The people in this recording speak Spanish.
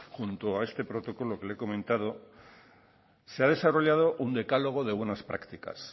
junto a este protocolo que le he comentado se ha desarrollado un decálogo de buenas prácticas